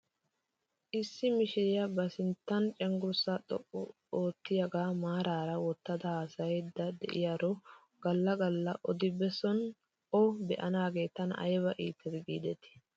Issi mishiriyaa ba sinttan cenggurssaa xuqqu oottiyaagaa maaraara wottada haasayaydda de'iyaaro gala gala odi bessan o be'anaagee tana ayba iites giidetii.